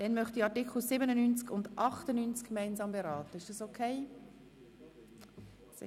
Ich möchte Artikel 97 und 98 gemeinsam beraten.